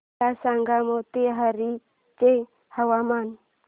मला सांगा मोतीहारी चे हवामान